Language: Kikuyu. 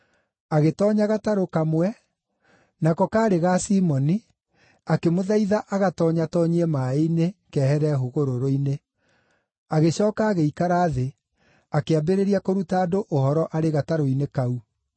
Agĩtoonya gatarũ kamwe, nako kaarĩ ga Simoni, akĩmũthaitha agatoonyatoonyie maaĩ-inĩ, kehere hũgũrũrũ-inĩ. Agĩcooka agĩikara thĩ, akĩambĩrĩria kũruta andũ ũhoro arĩ gatarũ-inĩ kau.